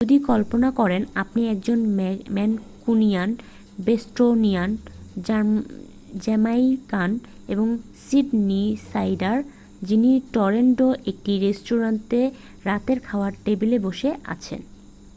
যদি কল্পনা করেন আপনি একজন ম্যানকুনিয়ান বোস্টোনিয়ান জ্যামাইকান এবং সিডনিসাইডার যিনি টরন্টোর একটি রেস্তোঁরাতে রাতের খাওয়ার টেবিলে বসে আছেন